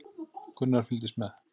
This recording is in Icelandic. Gunnar fylgdist með.